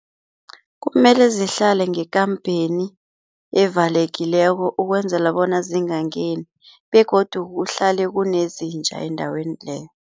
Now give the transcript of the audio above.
Kumele zihlale ngekampeni evalekileko ukwenzela bona zingangeni begodu kuhlale kunezinja endaweni leyo.